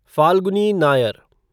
Falguni Nair